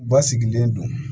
Ba sigilen don